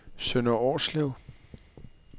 Sønder Årslev